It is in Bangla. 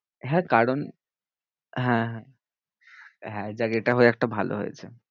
হ্যাঁ, কারণ হ্যাঁ যাক এটা হয়ে একটা ভালো হয়েছে।